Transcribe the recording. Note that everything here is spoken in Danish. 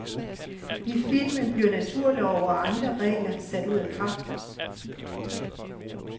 I filmen bliver naturlove og andre regler sat ud af kraft.